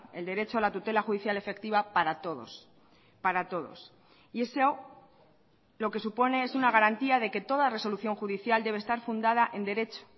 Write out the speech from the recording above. el derecho a la tutela judicial efectiva para todos para todos y eso lo que supone es una garantía de que toda resolución judicial debe estar fundada en derecho